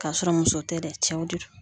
K'a sɔrɔ muso tɛ dɛ cɛw de do.